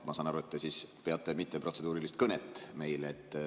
Ma saan aru, et te peate mitteprotseduurilist kõnet meile.